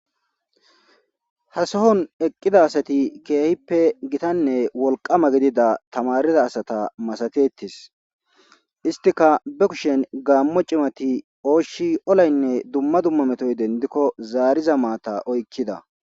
Hasohon eqqida asati keehippe gitanne wolqama gidida tamarida asata masatetis istika be kushen gaammo cimati ooshi olaynne dumma dumma metoy dendikko zaariza maata oykkida